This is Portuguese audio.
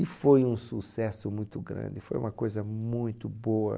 E foi um sucesso muito grande, e foi uma coisa muito boa.